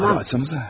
Tamam, açacaz.